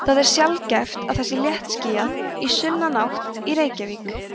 það er sjaldgæft að það sé léttskýjað í sunnanátt í reykjavík